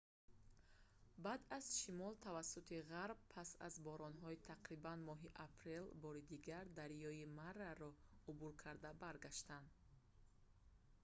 баъдан аз шимол тавассути ғарб пас аз боронҳои тақрибан моҳи апрел бори дигар дарёи мараро убур карда баргаштан